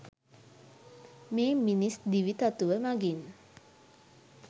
මේ මිනිස් දිවි තතුව මඟින්